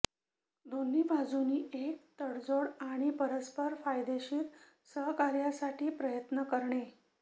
दोन्ही बाजूंनी एक तडजोड आणि परस्पर फायदेशीर सहकार्यासाठी प्रयत्न करणे